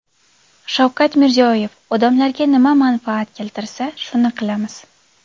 Shavkat Mirziyoyev: Odamlarga nima manfaat keltirsa, shuni qilamiz.